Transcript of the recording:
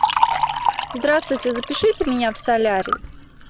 здравствуйте запишите меня в солярий